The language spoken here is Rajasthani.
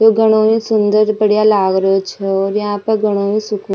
ये घणों ही सुंदर बढ़िया लाग रियो छ और यहाँ पर घणों ही --